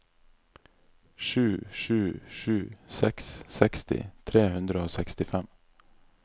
sju sju sju seks seksti tre hundre og sekstifem